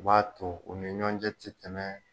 O b'a to u ni ɲɔn cɛ tɛ kɛmɛ